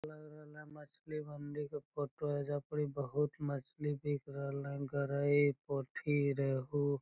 लग रहले मछली मंडी के फोटो है ऐजा पड़ी बहुत मछली बिक रहल है इंकर गरइ पोठी रेहु --